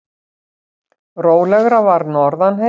Rólegra var norðan heiða.